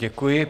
Děkuji.